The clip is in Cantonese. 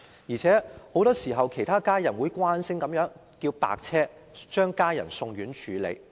而且很多時候病人的家人會慣性地召喚救護車，將病人送院治理。